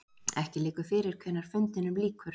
Ekki liggur fyrir hvenær fundinum lýkur